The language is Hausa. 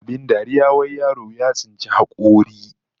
Abin dariya wai yaro ya tsinci hakori